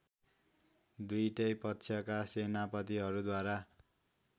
दुईटै पक्षका सेनापतिहरूद्वारा